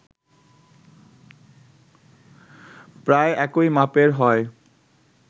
প্রায় একই মাপের হয়